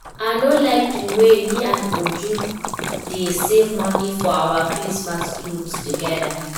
I no like the way me and Uju dey save money for our christmas cloth together